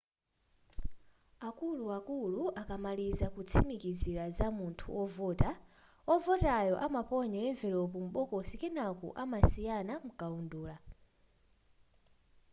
akuluakulu akamaliza kutsimikizira za munthu ovota wovotayo amaponya emvulopu m'bokosi kenako amasayina mukaundula